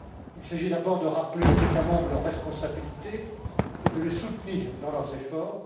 Il s'agit d'abord de rappeler aux États membres leurs responsabilités et de les soutenir dans leurs efforts.